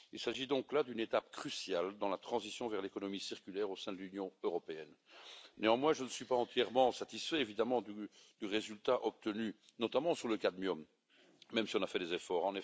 Il s'agit donc là d'une étape cruciale dans la transition vers l'économie circulaire au sein de l'Union européenne. Néanmoins, je ne suis pas entièrement satisfait évidemment du résultat obtenu, notamment sur le cadmium, même si on a fait des efforts.